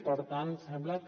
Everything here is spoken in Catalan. per tant sembla que